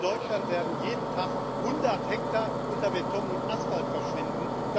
Denn in Deutschland werden jeden Tag 100 Hektar unter Beton und Asphalt verschwinden.